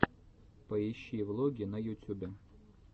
поищи влоги на ютюбе